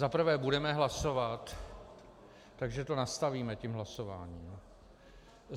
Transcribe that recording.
Zaprvé budeme hlasovat, takže to nastavíme tím hlasováním.